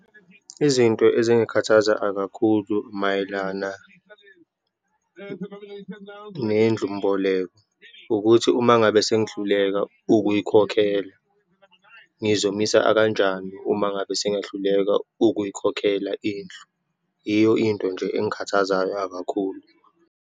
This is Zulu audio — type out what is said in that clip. Izinto ezingikhathaza akakhulu mayelana nendlumboleko, ukuthi uma ngabe sengihluleka ukuyikhokhela, ngizomisa akanjani, uma ngabe sengiyahluleka ukuyikhokhela indlu. Yiyo into nje engikhathazayo akakhulu.